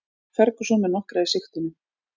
Ferguson með nokkra í sigtinu